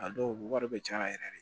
A dɔw wari bɛ caya a yɛrɛ ye